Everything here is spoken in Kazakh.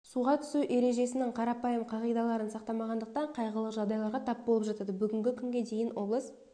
суға түсу ережесінің қарапайым қағидаларын сақтамағандықтан қайғылы жағдайларға тап болып жатады бүгінгі күнге дейін облыс